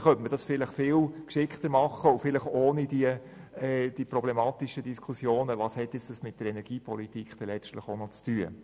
Dies könnte man vielleicht viel geschickter machen und ohne die problematischen Diskussionen darum, was das letztlich noch mit Energiepolitik zu tun hat.